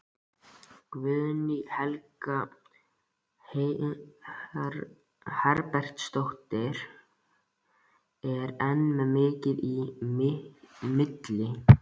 Guðný Helga Herbertsdóttir: Ber enn mikið í milli?